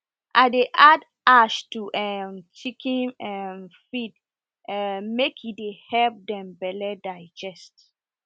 i dey add ash to um chicken um feed um make e dey help them belle digest